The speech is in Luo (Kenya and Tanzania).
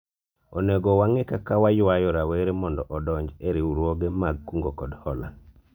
onego wang'I kaka waywayo rawere mondo odonji e riwruoge mag kungo kod hola